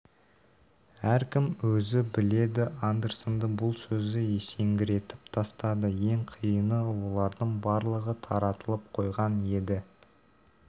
әркім өзі біледі андерсонды бұл сөзі есеңгіретіп тастады ең қиыны олардың барлығы таратылып қойған еді